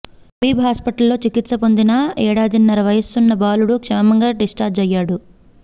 హబీబ్ హాస్పిటల్లో చికిత్స పొందిన ఏడాదిన్నర వయసున్న బాలుడు క్షేమంగా డిశ్చార్జి అయ్యాడు